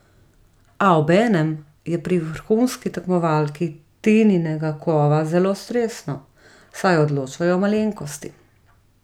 A obenem je pri vrhunski tekmovalki Tininega kova zelo stresno, saj odločajo malenkosti.